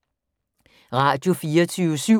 Radio24syv